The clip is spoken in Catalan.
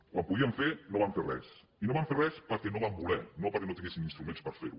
quan ho podien fer no van fer res i no van fer res perquè no van voler no perquè no tinguessin instruments per fer ho